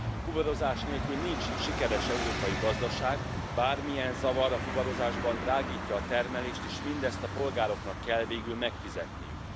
Fuvarozás nélkül nincs sikeres európai gazdaság, bármilyen zavar a fuvarozásban drágítja a termelést, és mindezt a polgároknak kell végül megfizetniük.